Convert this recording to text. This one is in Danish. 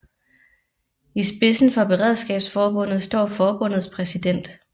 I spidsen for Beredskabsforbundet står forbundets præsident